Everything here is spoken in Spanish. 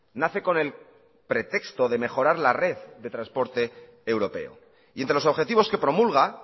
nace con el pretexto de mejorar la red de transporte europeo y entre los objetivos que promulga